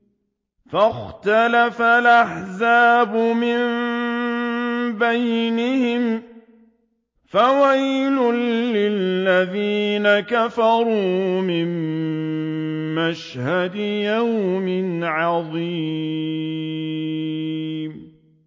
فَاخْتَلَفَ الْأَحْزَابُ مِن بَيْنِهِمْ ۖ فَوَيْلٌ لِّلَّذِينَ كَفَرُوا مِن مَّشْهَدِ يَوْمٍ عَظِيمٍ